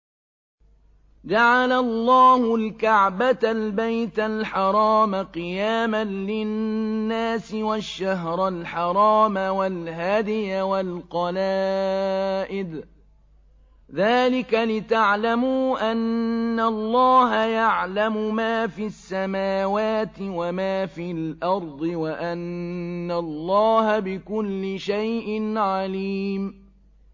۞ جَعَلَ اللَّهُ الْكَعْبَةَ الْبَيْتَ الْحَرَامَ قِيَامًا لِّلنَّاسِ وَالشَّهْرَ الْحَرَامَ وَالْهَدْيَ وَالْقَلَائِدَ ۚ ذَٰلِكَ لِتَعْلَمُوا أَنَّ اللَّهَ يَعْلَمُ مَا فِي السَّمَاوَاتِ وَمَا فِي الْأَرْضِ وَأَنَّ اللَّهَ بِكُلِّ شَيْءٍ عَلِيمٌ